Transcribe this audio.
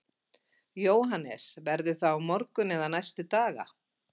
Jóhannes: Verður það á morgun eða næstu daga?